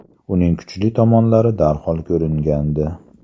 Uning kuchli tomonlari darhol ko‘ringandi.